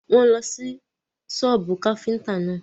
Wọ́n ń lọ sí sọ́bù káfíntà náà.